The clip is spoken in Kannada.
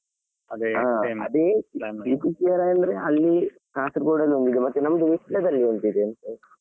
PPCRI ಅಂದ್ರೆ ಅಲ್ಲಿ ಕಾಸರಗೋಡು ಅಲ್ಲಿ ಒಂದು ಮತ್ತೆ ನಮ್ಮದು ವಿಟ್ಲಾದಲ್ಲಿ ಒಂದು ಇದೆ ಅಂತೆ.